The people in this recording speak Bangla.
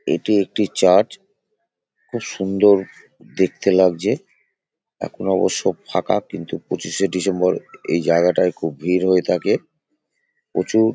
এটি একটি চার্চ । খুব সুন্দর দেখতে লাগছে। এখন অবশ্য ফাঁকা কিন্তু পঁচিশে ডিসেম্বর এই জায়গাটায় খুব ভিড় হয়ে থাকে। প্রচুর --